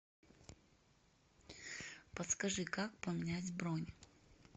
подскажи как поменять бронь